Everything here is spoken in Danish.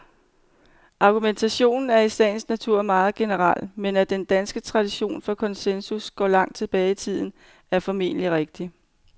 Argumentationen er i sagens natur meget generel, men at den danske tradition for konsensus går langt tilbage i tiden, er formentlig rigtigt.